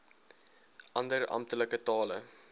ander amptelike tale